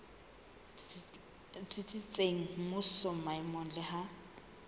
tsitsitseng mmusong maemong le ha